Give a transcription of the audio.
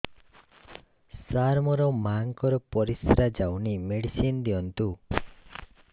ସାର ମୋର ମାଆଙ୍କର ପରିସ୍ରା ଯାଉନି ମେଡିସିନ ଦିଅନ୍ତୁ